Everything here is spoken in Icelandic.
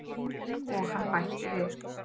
Og hann bætti við.